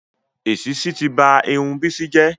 Èsísí ti ba Irun Bisi jẹ́